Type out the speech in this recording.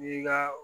N'i ka